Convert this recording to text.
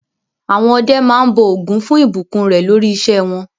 Àwọn ọdẹ máa ń bọ Ògún fún ìbùkún rẹ̀ lórí iṣẹ́ wọn.